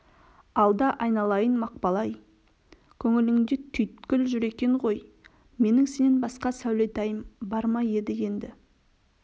алда айналайын мақпал-ай көңіліңде түйткіл жүр екен ғой менің сенен басқа сәулетайым бар ма еді енді